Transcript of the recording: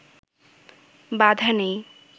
বাধা নেই